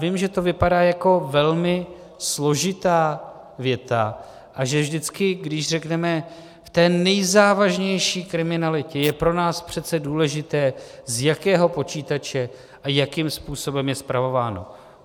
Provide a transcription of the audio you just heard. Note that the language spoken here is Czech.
Vím, že to vypadá jako velmi složitá věta a že vždycky, když řekneme v té nejzávažnější kriminalitě je pro nás přece důležité, za jakého počítače a jakým způsobem je spravováno.